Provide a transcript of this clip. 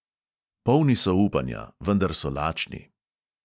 Polni so upanja, vendar so lačni.